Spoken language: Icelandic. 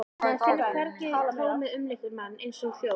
Maður finnur hvernig tómið umlykur mann, eins og hljóð.